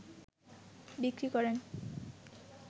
বিক্রি করেন